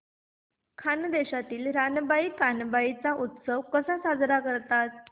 खानदेशात रानबाई कानबाई चा उत्सव कसा साजरा करतात